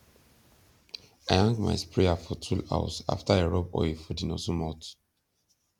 i hang my sprayer for tool house after i rub oil for the nozzle mouth